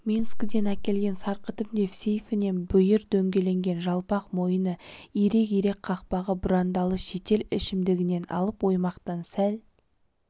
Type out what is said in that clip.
минскіден әкелген сарқытым деп сейфінен бүйір дөңгеленген жалпақ мойыны ирек-ирек қақпағы бұрандалы шетел ішімдігін алып оймақтан сәл